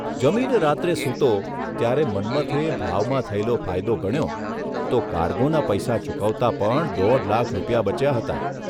જમીને રાત્રે સૂતો ત્યારે મન્મથે ભાવમાં થયેલો ફાયદો ગણ્યો તો કારગોના પૈસા ચૂકવતા પણ દોઢ લાખ રૂપિયા બચ્યા હતા.